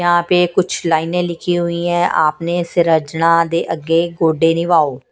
यहाँ पे कुछ लाइनें लिखी हुई हैं आपने सिरजना ।